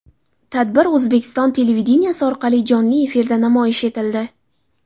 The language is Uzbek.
Tadbir O‘zbekiston televideniyesi orqali jonli efirda namoyish etildi.